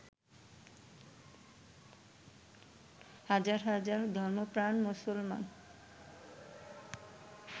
হাজার হাজার ধর্মপ্রাণ মুসলমান